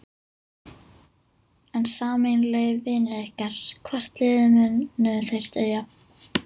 En sameiginlegir vinir ykkar, hvort liðið munu þeir styðja?